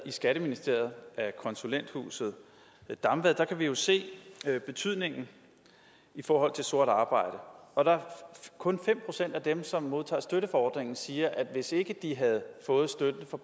i skatteministeriet af konsulenthuset damvad kan vi jo se betydningen i forhold til sort arbejde og der er kun fem procent af dem som modtager støtte fra ordningen som siger at hvis ikke de havde fået støtten fra